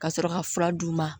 Ka sɔrɔ ka fura d'u ma